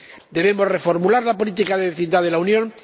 Debemos reformular la política de vecindad de la Unión.